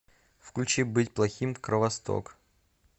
включи быть плохим кровосток